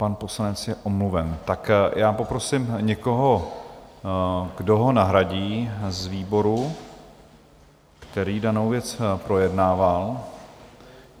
Pan poslanec je omluven, tak já poprosím někoho, kdo ho nahradí z výboru, který danou věc projednával.